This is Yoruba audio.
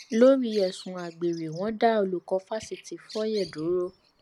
lórí ẹsùn àgbèrè wọn dá olùkọ fáṣítì fùye dúró